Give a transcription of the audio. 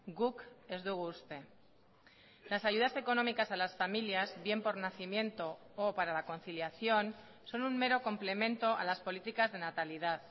guk ez dugu uste las ayudas económicas a las familias bien por nacimiento o para la conciliación son un mero complemento a las políticas de natalidad